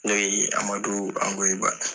Ne ye amadu angoyiba